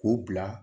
K'u bila